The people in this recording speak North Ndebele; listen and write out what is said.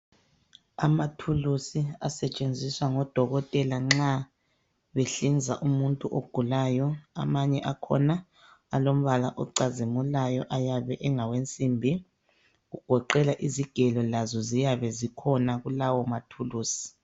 Amathulusi asetshenziswa ngodokotela nxa behlinza umuntu ogulayo. Amanye akhona alombala ocazimulayo ayabe engawensimbi. Kugoqela izigelo lazo ziyabe zikhona kulawo mathulusi